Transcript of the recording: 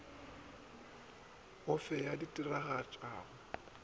o fe yo a diragatšago